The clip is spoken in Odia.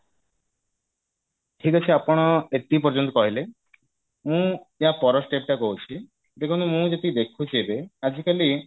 ଠିକ ଅଛି ଆପଣ ଏତିକି ପର୍ଯ୍ୟନ୍ତ କହିଲେ ମୁଁ ଆ ପର step ଟା କହୁଛି ଦେଖନ୍ତୁ ମୁଁ ଯେତିକି ଦେଖୁଛି ଏବେ ଆଜିକାଲି